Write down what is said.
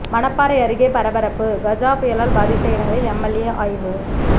மணப்பாறை அருகே பரபரப்பு கஜா புயலால் பாதித்த இடங்களில் எம்எல்ஏ ஆய்வு